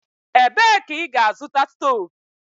Ebee ka ị ga-azụta stovu?